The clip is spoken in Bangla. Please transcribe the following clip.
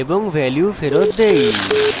এবং value ফেরৎ দেই